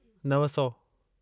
नव सौ